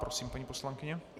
Prosím, paní poslankyně.